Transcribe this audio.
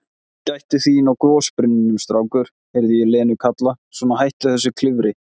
Gættu þín á gosbrunninum, strákur, heyri ég Lenu kalla, svona, hættu þessu klifri.